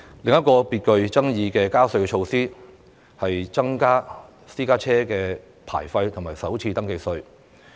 另一項具爭議的加稅措施，是增加私家車牌費和首次登記稅。